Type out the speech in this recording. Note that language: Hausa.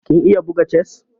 Kin iya buga chess?